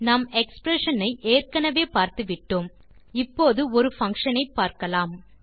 நாம் எக்ஸ்பிரஷன் ஐ ஏற்கெனவே பார்த்துவிட்டோம் இப்போது ஒரு பங்ஷன் ஐ பார்க்கலாம்